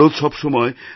ভারত সব সময়